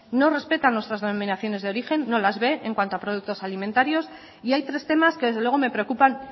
no respeta nuestras denominaciones de origen no las ve en cuanto a productos alimentarios y hay tres temas que desde luego me preocupan